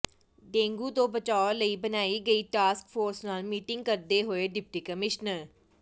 dengue ਤੋਂ ਬਚਾਅ ਲਈ ਬਣਾਈ ਗਈ ਟਾਸਕ ਫੋਰਸ ਨਾਲ ਮੀਟਿੰਗ ਕਰਦੇ ਹੋਏ ਡਿਪਟੀ ਕਮਿਸ਼ਨਰ